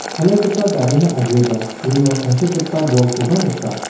chalaigipa garina agreba uno tangsekgipa bolkoba nika.